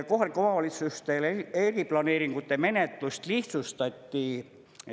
Kohalikele omavalitsustele eriplaneeringute menetlust lihtsustati.